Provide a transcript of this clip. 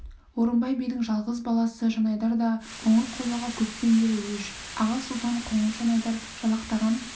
орынбай бидің жал- ғыз баласы жанайдар да қоңырқұлжаға көптен бері өш аға сұлтан қоңыр- жанайдар жалақтаған